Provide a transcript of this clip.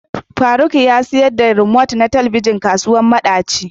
Faruk ya sayar da remote na Telebijin kasuwar madaci.